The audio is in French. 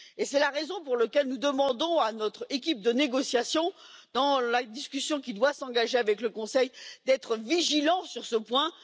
C'est la raison pour laquelle nous demandons à notre équipe de négociation, dans la discussion qui doit s'engager avec le Conseil, d'être vigilante sur ce point.